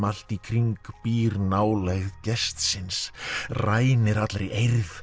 allt í kring býr nálægð gestsins rænir allri eirð